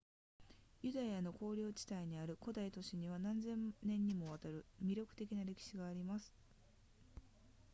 ユダヤの丘陵地帯にある古代都市には何千年にもわたる魅力的な歴史があります